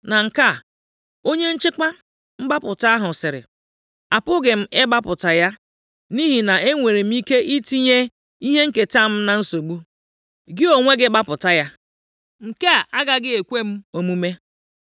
Na nke a, onye nchekwa mgbapụta ahụ sịrị, “Apụghị m ịgbapụta ya nʼihi na e nwere m ike itinye ihe nketa m na nsogbu. Gị onwe gị gbapụta ya. Nke a agaghị ekwe m omume.”